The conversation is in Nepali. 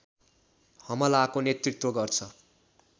हमलाको नेतृत्व गर्छ